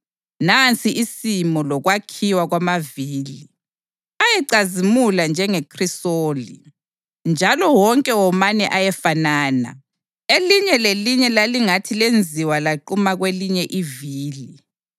Nansi isimo lokwakhiwa kwamavili: Ayecazimula njengekhrisoli, njalo wonke womane ayefanana. Elinye lelinye lalingathi lenziwa lanquma kwelinye ivili.